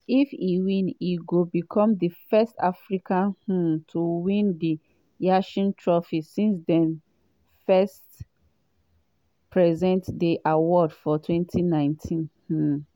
if e win e go become di first african um to win di yashin trophy since dem first present di award for 2019. um